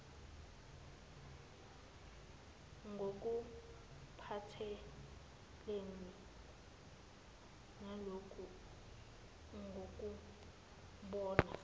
ngokuphathelene naloku ngokubona